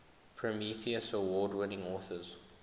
prometheus award winning authors